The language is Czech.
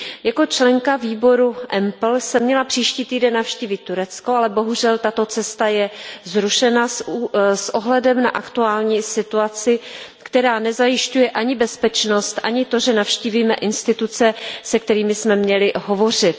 Jako členka výboru EMPL jsem měla příští týden navštívit Turecko, ale bohužel tato cesta je zrušena s ohledem na aktuální situaci, která nezajišťuje ani bezpečnost, ani to, že navštívíme instituce, se kterými jsme měli hovořit.